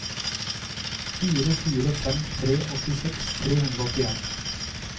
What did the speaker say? fire fire fem tre åttiseks tre hundre og åttien